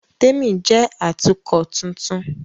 Témi jẹ́ Atukọ̀ tuntun